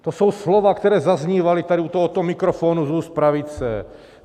To jsou slova, která zaznívala tady u tohoto mikrofonu z úst pravice.